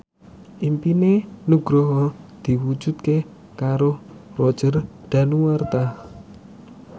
impine Nugroho diwujudke karo Roger Danuarta